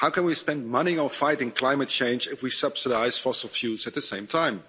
How can we spend money on fighting climate change if we subsidise fossil fuels at the same time?